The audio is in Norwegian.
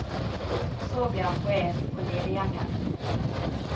Så ble han poet og lediggjenger.